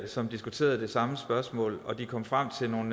som diskuterede det samme spørgsmål og de kom frem til nogle